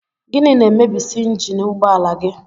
Gịnị na-emebisị njini ụgbọala gị?